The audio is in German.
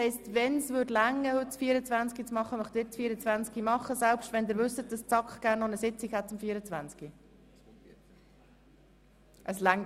Wollen Sie wirklich gegebenenfalls mit dem Traktandum 24 anfangen, auch wenn die SAK gerne noch eine Sitzung zum Traktandum 24 durchführen möchte?